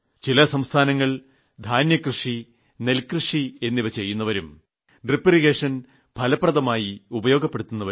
ചില സംസ്ഥാനങ്ങൾ ധാന്യകൃഷി നെൽകൃഷി എന്നിവ ചെയ്യുന്നവരും ഡ്രിപ് ഇറിഗേഷൻ ഫലപ്രദമായി ഉപയോഗപ്പെടുത്തുന്നു